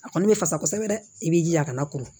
A kɔni bɛ fasa kosɛbɛ dɛ i bɛ jija a kana kuru